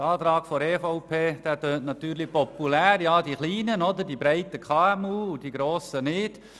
Der Antrag der EVP tönt natürlich populär: die Kleinen, die breitgestreuten KMU, und die Grossen nicht.